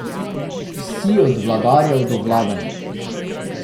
Vsi, od vladarjev do vladanih.